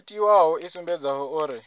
o tiwaho i sumbedzaho uri